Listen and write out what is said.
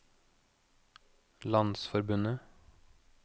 landsforbundet